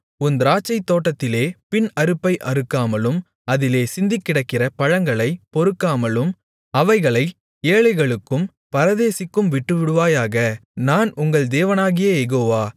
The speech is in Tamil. உன் திராட்சைத்தோட்டத்திலே பின் அறுப்பை அறுக்காமலும் அதிலே சிந்திக்கிடக்கிற பழங்களைப் பொறுக்காமலும் அவைகளை ஏழைகளுக்கும் பரதேசிக்கும் விட்டுவிடுவாயாக நான் உங்கள் தேவனாகிய யெகோவா